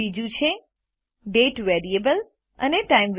બીજું છે દાતે અને ટાઇમ